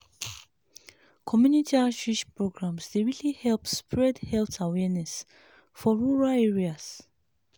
community outreach programs dey really help spread health awareness for rural areas.